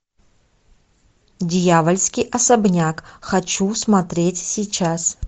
дьявольский особняк хочу смотреть сейчас